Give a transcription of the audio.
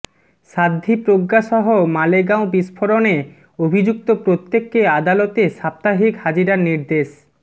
সাধ্বী প্রজ্ঞা সহ মালেগাঁও বিস্ফোরণে অভিযুক্ত প্রত্যেককে আদালতে সাপ্তাহিক হাজিরার নির্দেশ